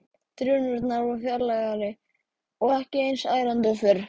Drunurnar voru fjarlægari og ekki eins ærandi og fyrr.